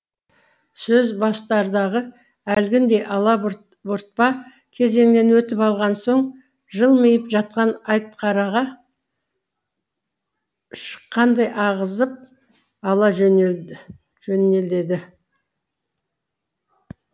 сөз бастардағы әлгіндей алабұртпа кезеңнен өтіп алған соң жылмиып жатқан шыққандай ағызып ала жөнеледі